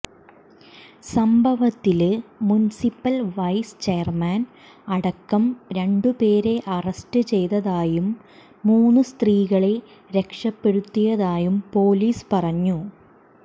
സംഭവത്തില് municipal vice chairman അടക്കം രണ്ടുപേരെ അറസ്റ്റ് ചെയ്തതായും മൂന്ന് സ്ത്രീകളെ രക്ഷപ്പെടുത്തിയതായും പോലീസ് പറഞ്ഞു